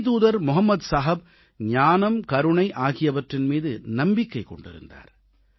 இறைத்தூதர் முகமது நபிகள் ஞானம் கருணை ஆகியவற்றின் மீது நம்பிக்கை கொண்டிருந்தார்